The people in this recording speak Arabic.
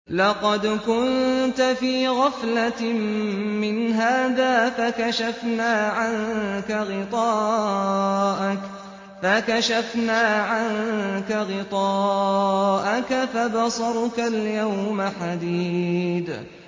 لَّقَدْ كُنتَ فِي غَفْلَةٍ مِّنْ هَٰذَا فَكَشَفْنَا عَنكَ غِطَاءَكَ فَبَصَرُكَ الْيَوْمَ حَدِيدٌ